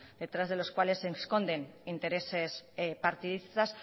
detrás de los cuales se esconden intereses partidistas